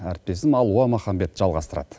әріптесім алуа махамбет жалғастырады